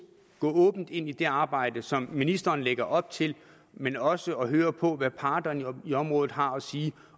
åbent ind i det arbejde som ministeren lægger op til men også at høre på hvad parterne på området har at sige